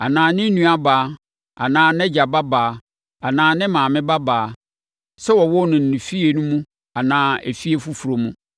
“ ‘Anaa ne nuabaa anaa nʼagya babaa anaa ne maame babaa, sɛ wɔwoo no efie no mu anaa efie foforɔ mu.